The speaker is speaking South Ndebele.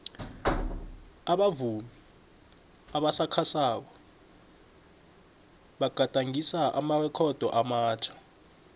abavumi abasakhasako bagadangise amarekhodo amatjha